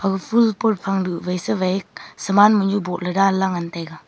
aga ful pot phang du vai sa vai saman mohnu bohle danla ngantaiga.